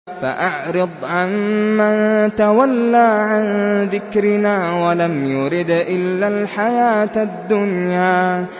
فَأَعْرِضْ عَن مَّن تَوَلَّىٰ عَن ذِكْرِنَا وَلَمْ يُرِدْ إِلَّا الْحَيَاةَ الدُّنْيَا